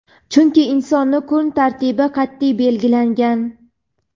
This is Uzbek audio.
chunki insonning kun tartibi qat’iy belgilangan.